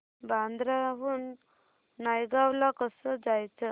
बांद्रा हून नायगाव ला कसं जायचं